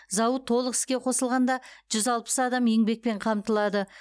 зауыт толық іске қосылғанда жүз алпыс адам еңбекпен қамтылады